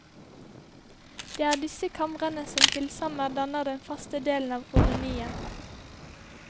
Det er disse kamrene som til sammen danner den faste delen av kolonien.